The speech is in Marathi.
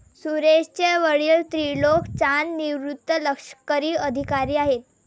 सुरेश चे वडील त्रिलोक चांद निवृत्त लष्करी अधिकारी आहेत.